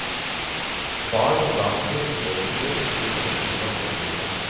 Bar og dartspill i eget rom i forlengelsen av oppholdsrommet.